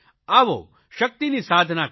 આવો શકિતની સાધના કરીએ